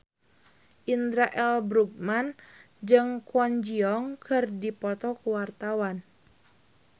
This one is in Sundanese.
Indra L. Bruggman jeung Kwon Ji Yong keur dipoto ku wartawan